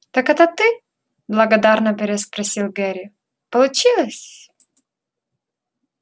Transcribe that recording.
так это ты благодарно переспросил гарри получилось